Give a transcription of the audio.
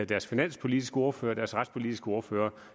deres finanspolitiske ordfører og deres retspolitiske ordfører